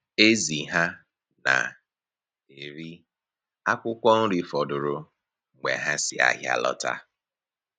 Ezì ha na-eri akwụkwọ nri fọdụrụ mgbe ha si ahịa lọta.